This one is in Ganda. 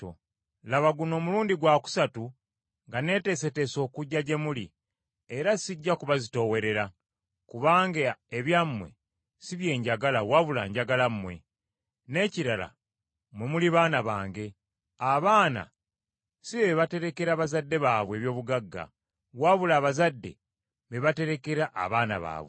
Laba guno mulundi gwa kusatu nga nneeteeseteese okujja gye muli, era sijja kubazitoowerera, kubanga ebyammwe si bye njagala, wabula njagala mmwe. N’ekirala, mmwe muli baana bange; abaana si be baterekera bazadde baabwe eby’obugagga, wabula abazadde be baterekera abaana baabwe.